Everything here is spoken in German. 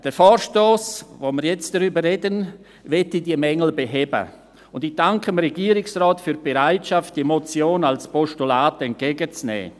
Der Vorstoss, über den wir jetzt reden, will diese Mängel beheben, und ich danke dem Regierungsrat für die Bereitschaft, diese Motion als Postulat entgegenzunehmen.